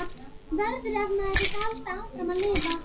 Verður- ef maður vill halda áfram að lifa.